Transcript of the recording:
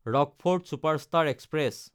Rockfort superfast express